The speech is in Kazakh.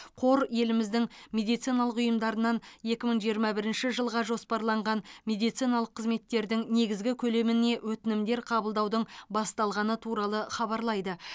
қор еліміздің медициналық ұйымдарынан екі мың жиырма бірінші жылға жоспарланған медициналық қызметтердің негізгі көлеміне өтінімдер қабылдаудың басталғаны туралы хабарлайды